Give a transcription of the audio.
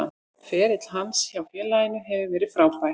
Ferill hans hjá félaginu hefur verið frábær.